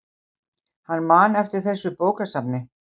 Hann man eftir þessu bókasafni.